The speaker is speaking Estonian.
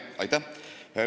Aitäh!